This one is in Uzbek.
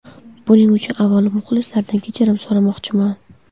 Buning uchun, avvalo, muxlislardan kechirim so‘ramoqchiman.